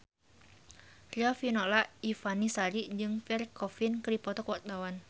Riafinola Ifani Sari jeung Pierre Coffin keur dipoto ku wartawan